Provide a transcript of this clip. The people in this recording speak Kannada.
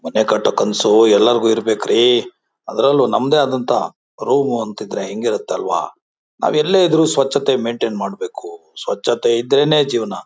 ಮನೆ ಕಟ್ಟೋ ಕನಸು ಎಲ್ಲರಿಗೂ ಇರ್ಬೇಕು ರೀ ಅದ್ರಲ್ಲೂ ನಮ್ದೇ ಆದಂಥ ರೂಮು ಅಂತಿದ್ರೆ ಹೆಂಗಿರುತ್ತೆ ಅಲ್ವಾ? ನಾವ್ ಎಲ್ಲೇ ಇದ್ರೂ ಸ್ವಚ್ಛತೆ ಮೈನ್ಟೈನ್ ಮಾಡಬೇಕು ಸ್ವಚ್ಛತ್ ಇದ್ರೇನೆ ಜೀವನ.